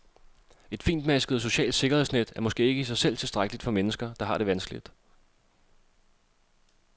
Et finmasket socialt sikkerhedsnet er måske ikke i sig selv tilstrækkeligt for mennesker, der har det vanskeligt.